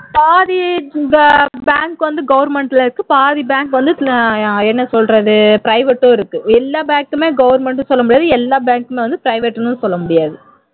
பாதி bank வந்து government ல இருக்கு பாதி bank வந்து என்ன சொல்றது private டும் இருக்கு எல்லா bank கும் government ன்னு சொல்ல முடியாது எல்லா bank கும் private ன்னும் சொல்ல முடியாது